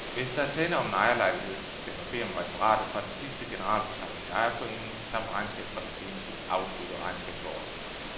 Hvis der er tale om en ejerlejlighed skal man bede om referatet fra den sidste generalforsamling i ejerforeningen samt regnskab fra det senest afsluttede regnskabsår.